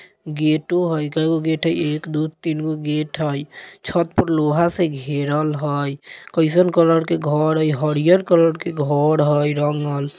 गेटो है| केगो घर है? एक दो तीन गो गेट है| छत पर लोहा से घेरल है| कैसन कलर के घर है? हैरियर कलर के घर है रंगल।